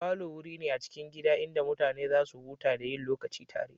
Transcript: Falo wuri ne a cikin gida inda mutane za su huta da yin lokaci tare.